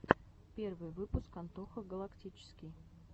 первый выпуск антоха галактический